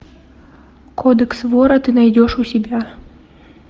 кодекс вора ты найдешь у себя